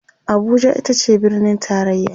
Abuja itace birnin taraya